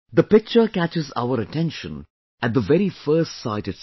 This picture catches our attention at the very first sight itself